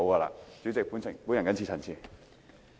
代理主席，我謹此陳辭。